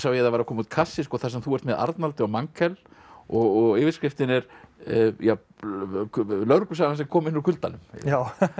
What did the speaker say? það var að koma út kassi þar sem þú ert með Arnaldi og og yfirskriftin er lögreglusagan sem kom inn úr kuldanum já